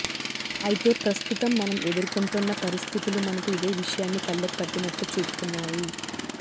అయితే ప్రస్తుతం మనం ఎదుర్కొంటోన్న పరిస్థితులు మనకు ఇదే విషయాన్ని కళ్లకు కట్టినట్లు చూపుతున్నాయి